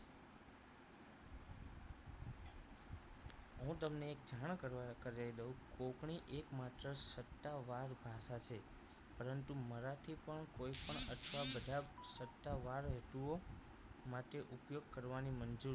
હું તમને એક જાણ કરવા કરાઈ દઉં કોપણી એકમાત્ર સત્તાવાર ભાષા છે પરંતુ મરાઠી પણ કોઈપણ અથવા બધા સત્તાવાર હેતુઓ માટે ઉપયોગ કરવાની મંજૂરી